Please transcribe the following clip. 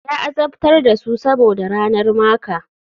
Ya azabtar da su saboda ranar maker.